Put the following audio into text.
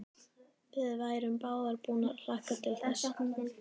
Við værum báðar búnar að hlakka til þess.